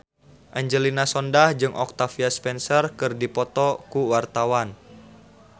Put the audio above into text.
Angelina Sondakh jeung Octavia Spencer keur dipoto ku wartawan